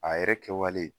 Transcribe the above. A yɛrɛ kɛwalen